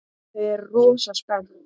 Þau eru rosa spennt.